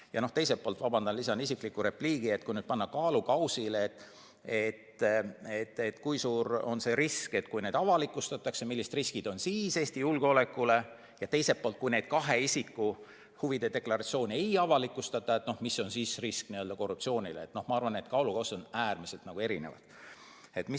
Ja teiselt poolt – vabandust, et lisan isikliku repliigi –, kui panna ühele kaalukausile see, kui suur on avalikustamise korral risk Eesti julgeolekule, ja teisele see, milline on nende kahe isiku huvide deklaratsiooni avalikustamata jätmise korral korruptsioonirisk, siis ma arvan, et kaalukausid on äärmiselt erineva kaaluga.